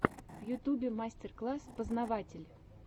в ютубе мастер класс познаватель